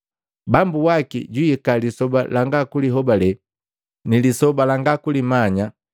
Bambu waki jwihika lisoba langa kulihobale ni lisaa langa kulimanya.